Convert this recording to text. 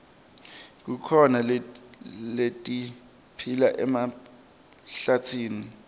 kukhona letiphila emhlabatsini